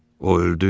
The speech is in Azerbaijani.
O öldü?